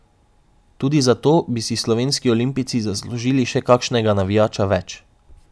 Tudi zato bi si slovenski olimpijci zaslužili še kakšnega navijača več.